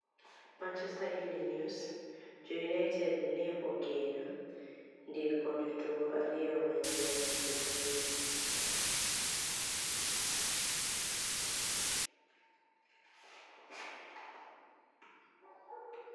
(Manichester Eveniinig ni ews) Jo Uniited ni e geno nidiko jotugo ariyo maniyieni dwe mabiro.